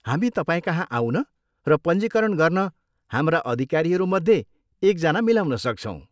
हामी तपाईँकहाँ आउन र पञ्जीकरण गर्न हाम्रा अधिकारीहरूमध्ये एकजना मिलाउन सक्छौँ।